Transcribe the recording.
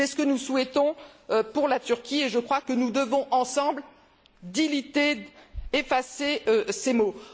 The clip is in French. C'est ce que nous souhaitons pour la Turquie et je crois que nous devons ensemble effacer ces mots.